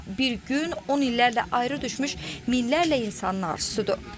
Amma bir gün 10 illərlə ayrı düşmüş minlərlə insanın arzusudur.